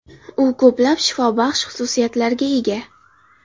U ko‘plab shifobaxsh xususiyatlarga ega.